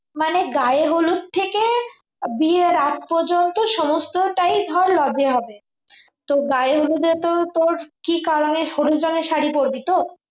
মানে গায়ে হলুদ থেকে বিয়ের আগে পর্যন্ত সমস্তটাই ধর lodge হবে তো গায়ে হলুদে তোর কি color এর হলুদ রঙের শাড়ি পরবি তো